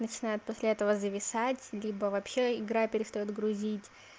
начинает после этого зависать либо вообще игра перестаёт грузить